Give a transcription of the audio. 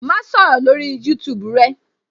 Ma sọ̀rọ̀ lórí YouTube rẹ